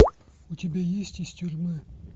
у тебя есть из тюрьмы